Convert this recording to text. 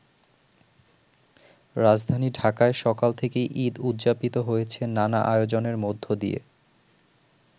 রাজধানী ঢাকায় সকাল থেকেই ঈদ উদযাপিত হয়েছে নানা আয়োজনের মধ্যে দিয়ে।